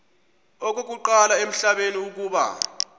okokuqala emhlabeni uba